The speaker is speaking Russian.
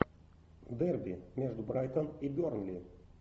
дерби между брайтон и бернли